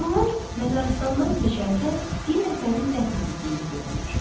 Onlar məzarlıqdan keçərkən bir nəfərin dəfn edildiyini görürlər.